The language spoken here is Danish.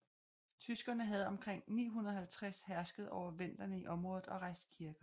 Tyskerne havde omkring 950 hersket over venderne i området og rejst kirker